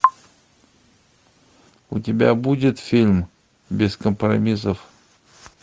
у тебя будет фильм без компромиссов